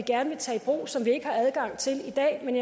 så vi ikke har adgang til i dag men